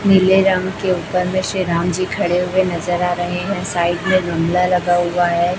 नीले रंग के उपर मे श्री राम जी खड़े हुए नजर आ रहे है साइड मे गमला लगा हुआ है।